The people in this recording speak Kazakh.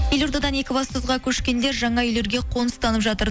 елордадан екібастұзға көшкендер жаңа үйлерге қоныстанып жатыр